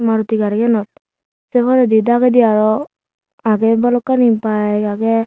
maruti gariyenot sei poredi dagedi aro agey balokkani bike agey.